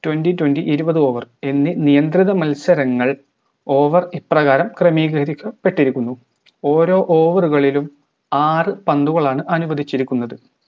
twenty twenty ഇരുപത് over എന്നി നിയന്ത്രിത മത്സരങ്ങൾ over ഇപ്രകാരം ക്രമീകരിക്കപെട്ടിരിക്കുന്നു ഓരോ over ഉകളിലും ആറ് പന്തുകളാണ് അനുവദിച്ചിരിക്കുന്നത്